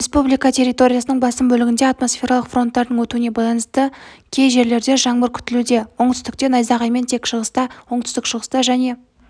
республика территориясының басым бөлігінде атмосфералық фронттардың өтуіне байланыстыкей жерлердежаңбыр күтілуде оңтүстікте найзағаймен тек шығыста оңтүстік-шығыста және